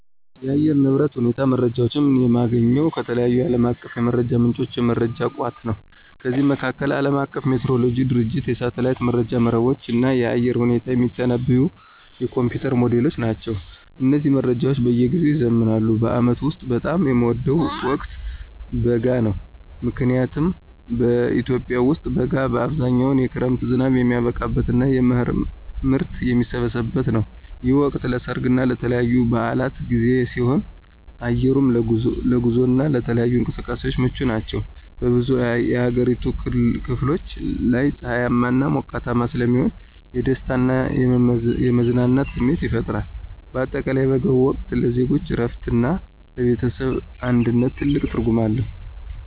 የአየር ንብረት ሁኔታ መረጃዎችን የማገኘው ከተለያዩ ዓለም አቀፍ የመረጃ ምንጮችና የመረጃ ቋቶች ነው። ከነዚህም መካከል፦ የዓለም አቀፉ ሜትሮሎጂ ድርጅቶች፣ የሳተላይት መረጃ መረቦች፣ እና የአየር ሁኔታን የሚተነብዩ የኮምፒዩተር ሞዴሎች ናቸው። እነዚህ መረጃዎች በየጊዜው ይዘምናሉ። በዓመቱ ውስጥ በጣም የምወደው ወቅት በጋ ነው። ምክንያቱም በኢትዮጵያ ውስጥ በጋ በአብዛኛው የክረምት ዝናብ የሚያበቃበትና የመኸር ምርት የሚሰበሰብበት ነው። ይህ ወቅት ለሠርግና ለተለያዩ በዓላት ጊዜ ሲሆን፣ አየሩም ለጉዞና ለተለያዩ እንቅስቃሴዎች ምቹ ይሆናል። በብዙ የአገሪቱ ክፍሎች ላይ ፀሐያማና ሞቃታማ ስለሚሆን የደስታና የመዝናናት ስሜት ይፈጥራል። በአጠቃላይ የበጋው ወቅት ለዜጎች እረፍትና ለቤተሰብ አንድነት ትልቅ ትርጉም አለው።